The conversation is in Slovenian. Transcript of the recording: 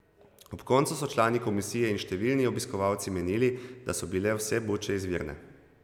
Ob koncu so člani komisije in številni obiskovalci menili, da so bile vse buče izvirne.